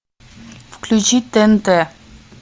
включи тнт